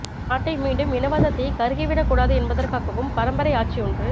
நாட்டை மீண்டும் இனவாதத் தீ கருக்கி விடக் கூடாது என்பதற்காகவும் பரம்பரை ஆட்சியொன்று